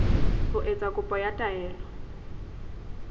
ho etsa kopo ya taelo